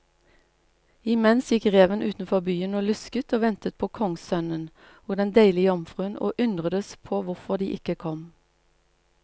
Imens gikk reven utenfor byen og lusket og ventet på kongssønnen og den deilige jomfruen, og undredes på hvorfor de ikke kom.